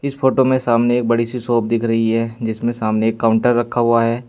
इस फोटो में सामने एक बड़ी सी शॉप दिख रही है जिसमें सामने एक काउंटर रखा हुआ है।